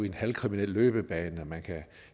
en halvkriminel løbebane man kan